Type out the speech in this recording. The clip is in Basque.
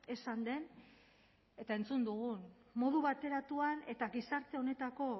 esan den eta entzun dugun modu bateratuan eta gizarte honetako